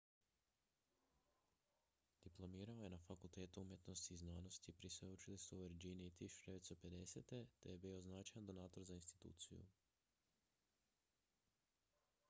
diplomirao je na fakultetu umjetnosti i znanosti pri sveučilištu u virginiji 1950. te je bio značajan donator za instituciju